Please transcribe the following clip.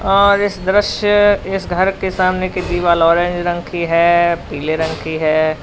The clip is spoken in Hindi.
और इस दृश्य इस घर के सामने की दीवाल औरेंज रंग की है पीले रंग की है।